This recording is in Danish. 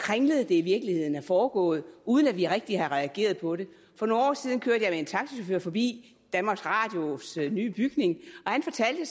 kringlet det i virkeligheden er foregået uden at vi rigtig har reageret på det for nogle år siden kørte jeg med en taxachauffør forbi danmarks radios nye bygning og han fortalte